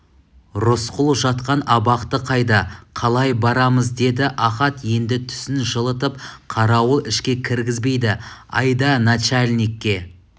рысқұл жатқан абақты қайда қалай барамыз деді ахат енді түсін жылытып қарауыл ішке кіргізбейді айда начальникке